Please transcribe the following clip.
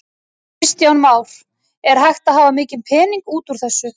Kristján Már: Er hægt að hafa mikinn pening út úr þessu?